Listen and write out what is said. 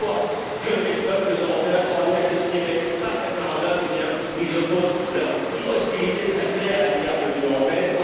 À chaque fois que les peuples européens sont amenés à s'exprimer par référendum, ils opposent leur hostilité très claire à l'égard de l'Union européenne.